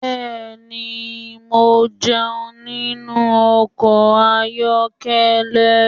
Bẹ́ẹ̀ni, mo jẹun nínú ọkọ̀ ayọ́kẹ́lẹ́.